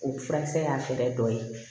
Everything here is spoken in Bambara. O furakisɛ y'a fɛɛrɛ dɔ ye